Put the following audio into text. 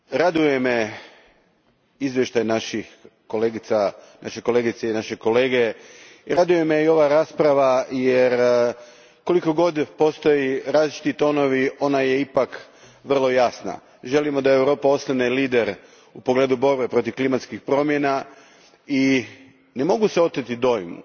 Gospođo predsjedavajuća, raduje me izvještaj naše kolegice i našeg kolege, raduje me i ova rasprava, jer koliko god postoje različiti tonovi, ona je ipak vrlo jasna. Želimo da Europa ostane lider u pogledu borbe protiv klimatskih promjena i ne mogu se oteti dojmu